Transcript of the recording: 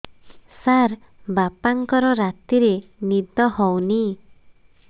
ସାର ବାପାଙ୍କର ରାତିରେ ନିଦ ହଉନି